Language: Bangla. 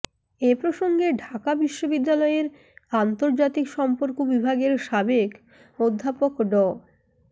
এ প্রসঙ্গে ঢাকা বিশ্ববিদ্যালয়ের আন্তর্জাতিক সম্পর্ক বিভাগের সাবেক অধ্যাপক ড